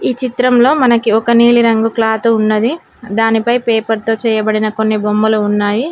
ఈ చిత్రంలో మనకి ఒక నీలిరంగు క్లాతు ఉన్నది దానిపై పేపర్ తో చేయబడిన కొన్ని బొమ్మలు ఉన్నాయి.